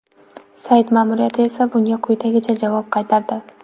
Sayt ma’muriyati esa bunga quyidagicha javob qaytardi.